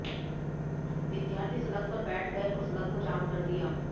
विद्यार्थी सड़क पर बैठ गए और सड़क को जाम कर दिया